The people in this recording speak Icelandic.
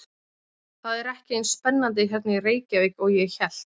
Það er ekki eins spennandi hérna í Reykjavík og ég hélt.